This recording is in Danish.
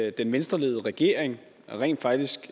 at den venstreledede regering rent faktisk